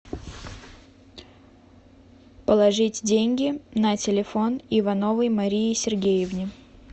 положить деньги на телефон ивановой марии сергеевне